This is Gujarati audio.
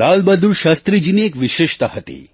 લાલબહાદુર શાસ્ત્રીજીની એ વિશેષતા હતી